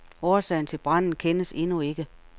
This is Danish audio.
Årsagen til branden kendes endnu ikke.